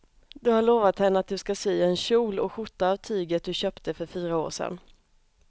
Du har lovat henne att du ska sy en kjol och skjorta av tyget du köpte för fyra år sedan.